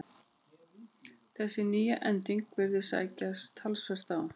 Þessi nýja ending virðist sækja talsvert á.